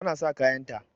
Tana sa kayanta.